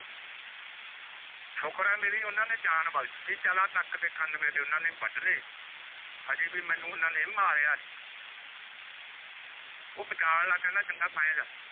ਸੁਖਾਰ ਹੈ ਓਹਨਾ ਨੇ ਮੇਰੀ ਜਾਂ ਬਕਸ਼ ਟੀ ਚਲ ਆਹ ਨਾਕ ਤੇਹ ਕਾਨ ਓਹਨਾ ਨਾਈ ਮੇਰੇ ਓਹਨਾ ਨੇ ਮੇਰੇ ਓਆੱਟ ਲੈ ਓਹ ਬਚਨ ਲਾਗ ਗਏ ਖੇੰਦੇ ਮੈ ਜਾਣਾ